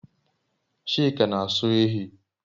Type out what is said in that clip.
Chika n'aso ehi